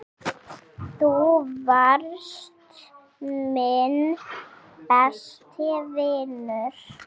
Þú varst minn besti vinur.